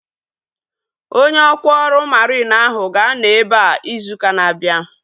Onye ọkwá ọrụ mariin ahu ga-anọ ebea izu ụka na-abịa